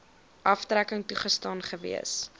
aftrekking toegestaan gewees